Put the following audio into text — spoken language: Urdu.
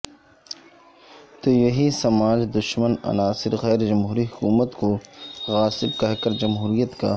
تو یہی سماج دشمن عناصر غیر جمہوری حکومتوں کو غاصب کہہ کر جہموریت کا